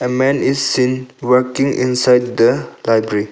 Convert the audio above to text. A man is seen working inside the library.